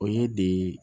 O ye de